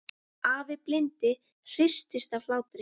Afi blindi hristist af hlátri.